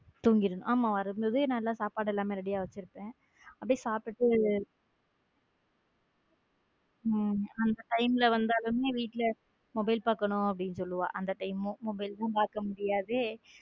தூங்கிரும் வரும்போது சாப்பாடு எல்லாம் ready யா வச்சு இருப்பேன அப்படியே சாப்பிட்ட அந்த time ல வந்தாலுமே வீட்ல mobile பாக்கணும் அப்படின்னு சொல்லுவா அந்த time mobile லும் பார்க்க முடியாது.